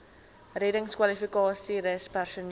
reddingskwalifikasies rus personeel